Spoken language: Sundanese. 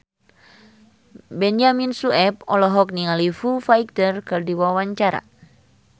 Benyamin Sueb olohok ningali Foo Fighter keur diwawancara